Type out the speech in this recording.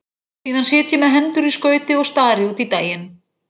Síðan sit ég með hendur í skauti og stari út í daginn.